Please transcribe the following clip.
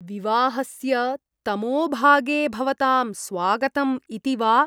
विवाहस्य तमोभागे भवतां स्वागतम् इति वा?